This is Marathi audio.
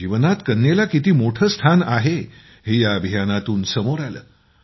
जीवनात कन्येला किती मोठं स्थान आहे हे या अभियानातून समोर आलं